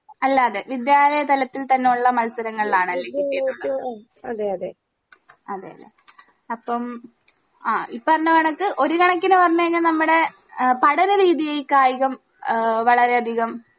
അല്ലാതെ വിദ്യാലയ തലത്തിൽ തന്നെള്ള മത്സരങ്ങളിലാണല്ലേ കിട്ടിയിട്ടുള്ളെ അതെ ല്ലേ അപ്പം ആ ഈ പറഞ്ഞ കണക്ക് ഒര്കണക്കിന്ന് പറഞ്ഞ് കഴിഞ്ഞ നമ്മടെ ഏഹ് പഠന രീതിയെ കായികം ഏഹ് വളരെ അധികം